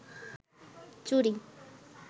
চুরি